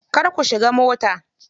Kar ku shiga mota.